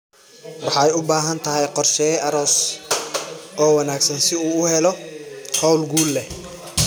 Waxay u baahan tahay qorsheeye aroos oo wanaagsan si uu u helo hawl guul leh.